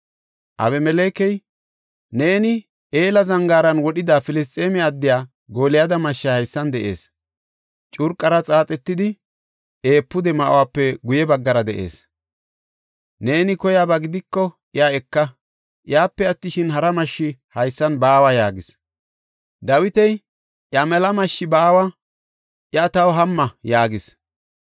Abimelekey, “Neeni Ela Zangaaran wodhida Filisxeeme addiya Gooliyada mashshay haysan de7ees; curqara xaaxetidi, efuude ma7uwape guye baggara de7ees. Neeni koyaba gidiko iya eka; iyape attishin, hara mashshi haysan baawa” yaagis. Dawiti, “Iya mela mashshi baawa; iya taw hamma” yaagis.